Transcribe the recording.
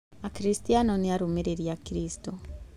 Akristiano na arũmĩrĩri a Kristo.